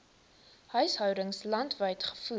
huishoudings landwyd gevoer